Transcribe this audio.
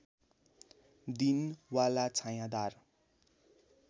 दिन वाला छायाँदार